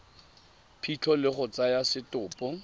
phitlho le go tsaya setopo